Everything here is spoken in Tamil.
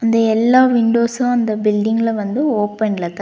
இந்த எல்லா விண்டோஸ்ஸு அந்த பில்டிங்ல வந்து ஓபன்லதா--